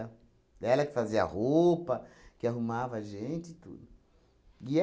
Ela que fazia a roupa, que arrumava a gente e tudo. E